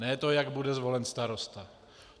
Ne to, jak bude zvolen starosta.